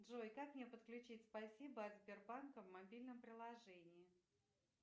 джой как мне подключить спасибо от сбербанка в мобильном приложении